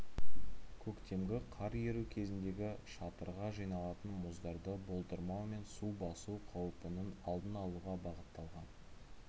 көктемгі қар еру кезіндегі шатырға жиналатын мұздарды болдырмау мен су басу қауіпінің алдын алуға бағытталған